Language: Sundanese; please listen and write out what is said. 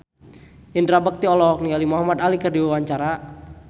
Indra Bekti olohok ningali Muhamad Ali keur diwawancara